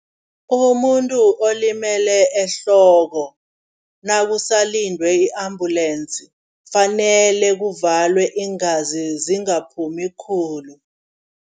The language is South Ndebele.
Umuntu olimele ehloko nakusalindwe i-ambulensi, fanele kuvalwa iingazi zingaphuma khulu.